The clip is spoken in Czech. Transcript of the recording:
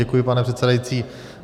Děkuji, pane předsedající.